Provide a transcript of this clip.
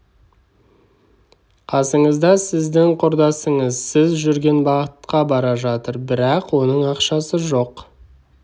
қасыңызда сіздің құрдасыңыз сіз жүрген бағытқа бара жатыр бірақ оның ақшасы жоқ